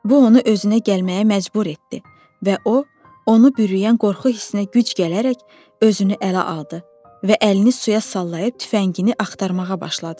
Bu onu özünə gəlməyə məcbur etdi və o, onu bürüyən qorxu hissinə güc gələrək özünü ələ aldı və əlini suya sallayıb tüfəngini axtarmağa başladı.